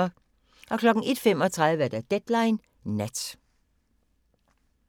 01:35: Deadline Nat